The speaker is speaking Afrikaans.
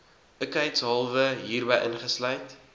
ikheidshalwe hierby ingesluit